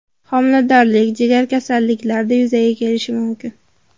Homiladorlik, jigar kasalliklarida yuzaga kelishi mumkin.